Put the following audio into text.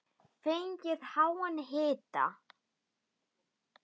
Fengið háan hita.